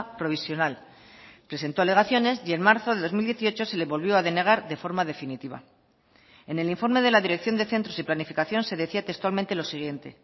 provisional presentó alegaciones y en marzo del dos mil dieciocho se le volvió a denegar de forma definitiva en el informe de la dirección de centros y planificación se decía textualmente lo siguiente